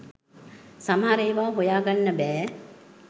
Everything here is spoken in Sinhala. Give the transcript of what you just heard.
සමහර ඒව හොයගන්න බෑ.